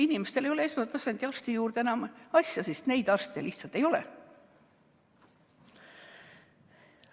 Inimestel ei ole esmatasandi arsti juurde enam asja, sest neid arste lihtsalt ei ole.